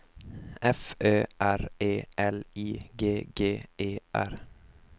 F Ö R E L I G G E R